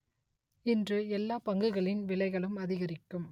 இன்று எல்லா பங்குகளின் விலைகளும் அதிகரிக்கும்